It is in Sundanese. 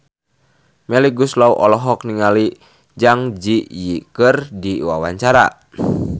Melly Goeslaw olohok ningali Zang Zi Yi keur diwawancara